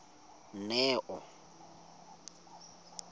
neo